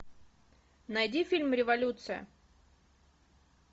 найди фильм революция